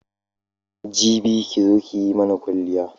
Jibi ki zo ki mana kwaliya.